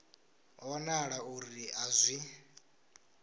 ho wanala uri a zwi